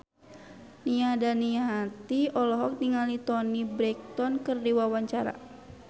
Nia Daniati olohok ningali Toni Brexton keur diwawancara